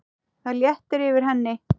Það léttir yfir henni.